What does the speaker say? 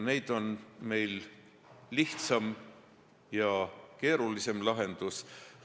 Meil on laual lihtsam ja keerulisem lahendus.